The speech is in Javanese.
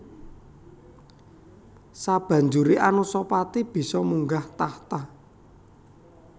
Sabanjuré Anusapati bisa munggah tahta